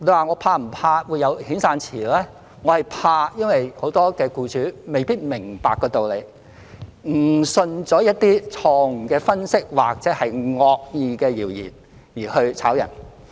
我是擔心的，因為很多僱主未必明白該道理，誤信了一些錯誤的分析或惡意謠言而解僱員工。